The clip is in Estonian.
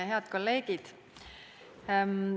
Head kolleegid!